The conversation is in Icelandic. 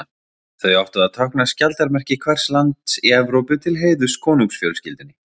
Þau áttu að tákna skjaldarmerki hvers lands í Evrópu til heiðurs konungsfjölskyldunum.